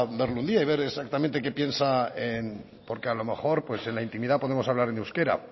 verlo un día y ver exactamente qué piensa en porque a lo mejor en la intimidad podemos hablar en euskera